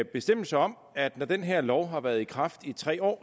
bestemmelse om at når den her lov har været i kraft i tre år